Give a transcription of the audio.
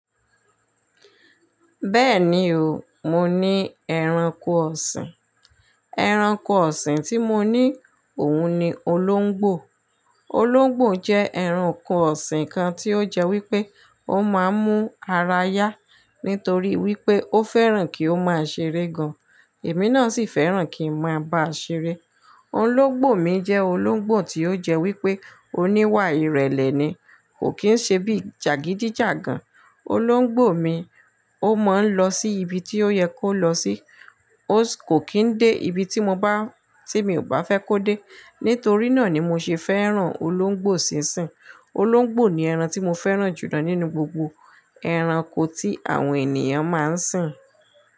Bẹ́ẹ̀ni o, mo ní ẹranko ọ̀sìn. Ẹranko ọ̀sìn tí mo ní òun ni olóńgbò. Olóńgbò jẹ́ ẹranko ọ̀sìn kan tí ó jẹ́ wípé ó máa ń mú ara yá nítorí wípé ó fẹ́ràn kí ó máa ṣeré gan. Èmi náà sì fẹ́ràn kí n máa bá a ṣeré. Olóńgbò mi jẹ́ olóńgbò tí ó jẹ́ wípé oníwà ìrẹ̀lẹ̀ ni, kò kí ń ṣe bí jàgídíjàgan. Olóńgbò mi ó máa ń lọ sí ibi tí ó yẹ kó lọ sí, ó sì kò kí ń dé ibi tí mo bá, tí mi ò bá fẹ́ kó dé. Nítorí náà ni mo ṣe fẹ́ràn olóńgbò sín sìn. Olóńgbò ni ẹran tí mo fẹ́ràn jùlọ nínú gbogbo ẹranko tí àwọn ènìyàn máa ń sìn.